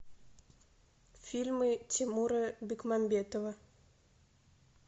фильмы тимура бекмамбетова